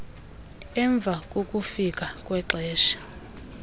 emva kokufika kwexesha